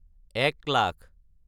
এক লাখ